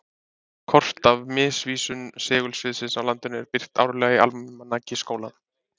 Kort af misvísun segulsviðsins á landinu eru birt árlega í Almanaki Háskólans.